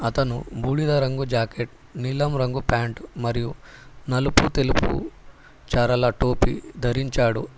అతను బూడిద రంగు జాకెట్ నీలం రంగు ప్యాంటు మరియు నలుపు తెలుపు చారల టోపీ ధరించాడు.